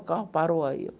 O carro parou aí.